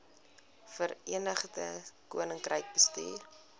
verenigde koninkryk bestuur